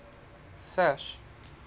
sash